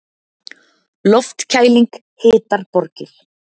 Loftkæling hitar borgir